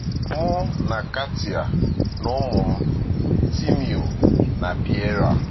Mụ na Katia na ụmụ m, Timeo na Pierre.